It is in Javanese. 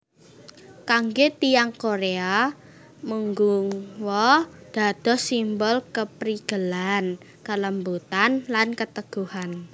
Kanggé tiyang Korea mugunghwa dados simbol keprigelan kelembutan lan keteguhan